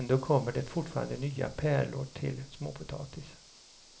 Ändå kommer det fortfarande nya pärlor till småpotatis.